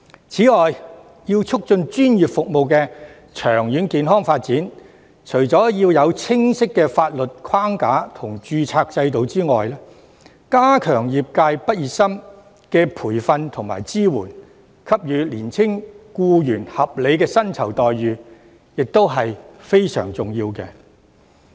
此外，為促進專業服務的長遠健康發展，除了要有清晰的法律框架和註冊制度外，加強對業界畢業生的培訓和支援，並給予年輕僱員合理的薪酬待遇，也是非常重要的。